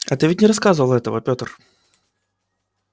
а ты ведь не рассказывал этого пётр